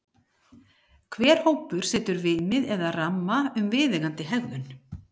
hver hópur setur viðmið eða ramma um viðeigandi hegðun